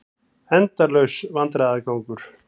Endalaus vandræðagangur.